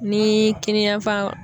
Ni kiniyanfan